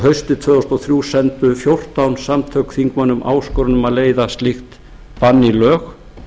haustið tvö þúsund og þrjú sendu fjórtán samtök þingmönnum áskorun um að leiða slíkt bann í lög